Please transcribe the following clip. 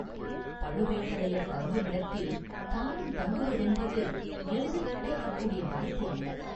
பழுவேட்டரையர் தங்குமிடத்தில் தானும் தங்குவதென்பது எளிதில் கிடைக்கக் கூடிய வாய்ப்பு அல்ல.